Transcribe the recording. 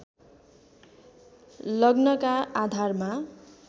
लग्नका आधारमा